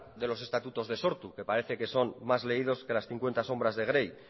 de los estatutos de sortu que parece que son más leídos que las cincuenta sombras de grey